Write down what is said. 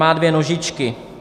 Má dvě nožičky.